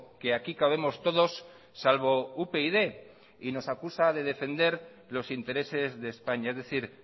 que aquí cabemos todos salvo upyd y nos acusa de defender los intereses de españa es decir